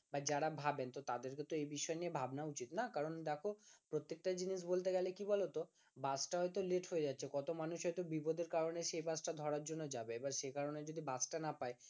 বা যারা ভাবেন তো তাদের কে তো এই বিষয় নিয়ে ভাবনা উচিত না কারণ দেখো প্রত্যেকটা জিনিস বলতে গেলে কি বলতো বাস টা হয়তো late হয়ে যাচ্ছে, কত মানুষ হয়তো বিপদের কারণে সেই বাসটা ধরার জন্য যাবে এবার সেই কারণে যদি বাসটা না পাই